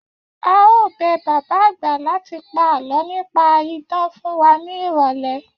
A óò bẹ bàbá àgbà láti pa àlọ́ nípa idán fún wa ní ìrọ̀lẹ́